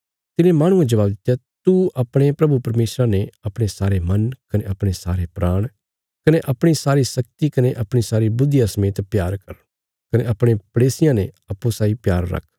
तिने माहणुये जवाब दित्या तू अपणे प्रभु परमेशरा ने अपणे सारे मन कने अपणे सारे प्राण कने अपणी सारी शक्ति कने अपणी सारी बुद्धिया समेत प्यार कर कने अपणे पड़ेसियां ने अप्पूँ साई प्यार रख